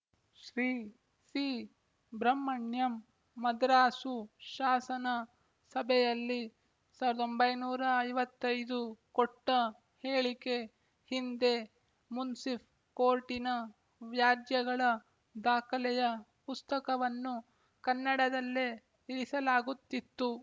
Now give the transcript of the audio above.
ಶ್ರೀ ಸಿಬ್ರಹ್ಮಣ್ಯಮ್ ಮದ್ರಾಸು ಶಾಸನ ಸಭೆಯಲ್ಲಿ ಸಾವಿರದ ಒಂಬೈನೂರ ಐವತ್ತ್ ಐದು ಕೊಟ್ಟ ಹೇಳಿಕೆ ಹಿಂದೆ ಮುನ್ಸಿಫ್ ಕೋರ್ಟಿನ ವ್ಯಾಜ್ಯಗಳ ದಾಖಲೆಯ ಪುಸ್ತಕವನ್ನು ಕನ್ನಡದಲ್ಲೇ ಇರಿಸಲಾಗುತ್ತಿತ್ತು